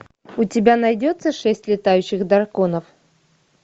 у тебя найдется шесть летающих драконов